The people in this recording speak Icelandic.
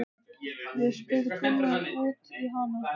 Við spurðum Gunnar út í hana?